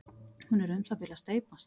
Hún er um það bil að steypast.